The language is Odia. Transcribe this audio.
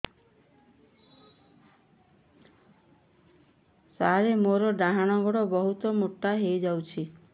ସାର ମୋର ଡାହାଣ ଗୋଡୋ ବହୁତ ମୋଟା ହେଇଯାଇଛି